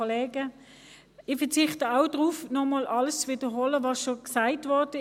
Ich verzichte auch darauf, noch einmal alles zu wiederholen, was zu diesem Bericht schon gesagt wurde.